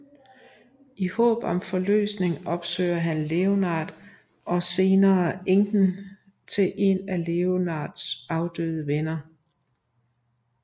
I håb om forløsning opsøger han Leonard og senere enken til en af Leonards afdøde venner